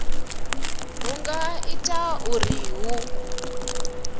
hu nga ita uri hu